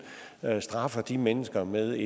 straffer de mennesker med